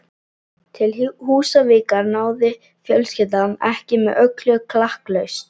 Til Húsavíkur náði fjölskyldan ekki með öllu klakklaust.